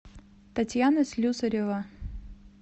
татьяна слюсарева